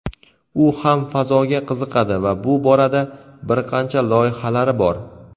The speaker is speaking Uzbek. u ham fazoga qiziqadi va bu borada bir qancha loyihalari bor.